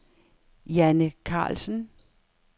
Janne Karlsen